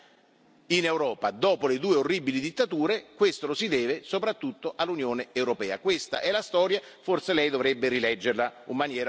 Quindi se sono stati garantiti settant'anni di pace in Europa, dopo le due orribili dittature, questo lo si deve soprattutto all'Unione europea.